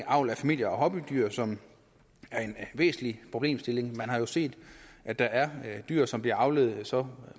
avl af familie og hobbydyr som er en væsentlig problemstilling man har jo set at der er dyr som bliver avlet med så